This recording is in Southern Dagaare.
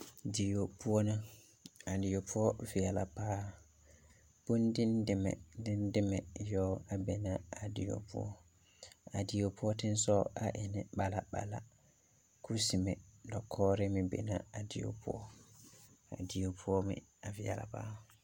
Dieo poʊ na. A dieo poʊ viɛla paa. Boŋ dɛdɛmɛ, dɛdɛmɛ yoɔ a be na a dieo poʊ. A dieo poʊ teŋsɔg e ne mmala mmala. Kusemɛ dakɔre meŋ be na a dieo poʊ. A die poʊ meŋ a viɛla paa